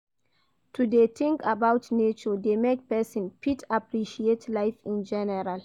To de think about nature de make persin fit appreciate life in general